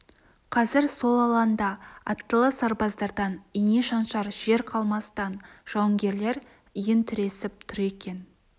қазір сол алаңда аттылы сарбаздардан ине шаншар жер қалмастан жауынгерлер иін тіресіп тұр екен